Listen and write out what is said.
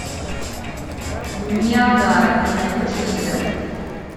ниагара ты найдешь у себя